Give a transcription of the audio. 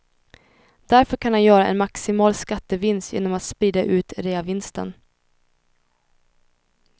Därför kan han göra en maximal skattevinst genom att sprida ut reavinsten.